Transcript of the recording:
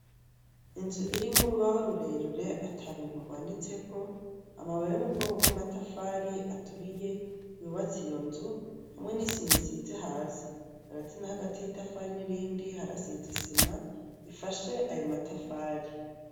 Inzu irimwo urubaho rurerure ata bintu rwanditseko. Amabuye yo mu bwoko bw'amatafari aturiye, yubatse iyo nzu, hamwe n'isima isizi hasi. Hagati na hagati y'itafari n'irindi, harasizi isima ifashe ayo matafari.